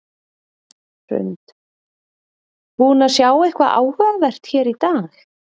Hrund: Búin að sjá eitthvað áhugavert hér í dag?